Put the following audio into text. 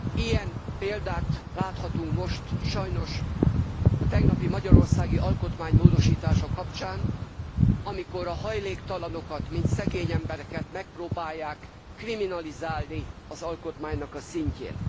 Ilyen példát láthatunk most sajnos a tegnapi magyarországi alkotmánymódosítás kapcsán, amikor a hajléktalanokat, mint szegény embereket megpróbálják kriminalizálni az alkotmánynak a szintjén.